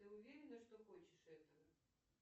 ты уверена что хочешь этого